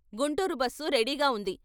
Guntur bus రెడీగా ఉంది.